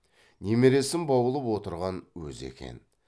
немересін баулып отырған өзі екен